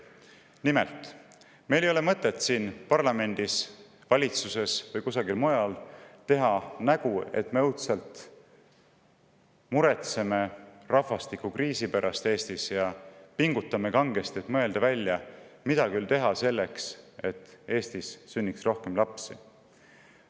Nimelt, meil ei ole mõtet siin parlamendis, valitsuses või kusagil mujal teha nägu, et me õudselt muretseme rahvastikukriisi pärast ja kangesti pingutame, et välja mõelda, mida küll teha selleks, et Eestis sünniks rohkem lapsi.